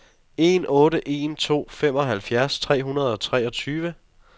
en otte en to femoghalvfjerds tre hundrede og treogtyve